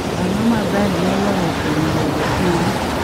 Ang'o ma ber moloyo kuom bedo in